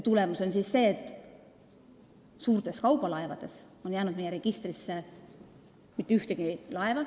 Tulemus on see, et suurtest kaubalaevadest ei ole jäänud meie registrisse mitte ühtegi.